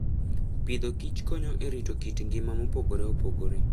Agriculture and Food konyo e rito kit ngima mopogore opogore.